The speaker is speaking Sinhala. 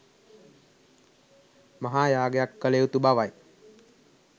මහා යාගයක් කළයුතු බවයි.